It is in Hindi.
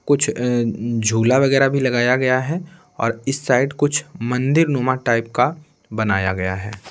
कुछ झूला वगैरह भी लगाया गया है और इस साइड कुछ मंदिर नुमा टाइप का बनाया गया है।